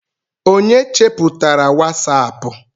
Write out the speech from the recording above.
onye cheputara wasapu?